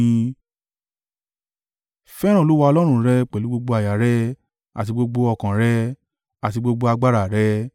Fẹ́ràn Olúwa Ọlọ́run rẹ pẹ̀lú gbogbo àyà rẹ àti gbogbo ọkàn rẹ, àti gbogbo agbára rẹ.